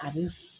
A bɛ f